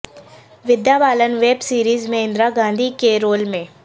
ودیا Balan web series میں اندرا گاندھی کے role میں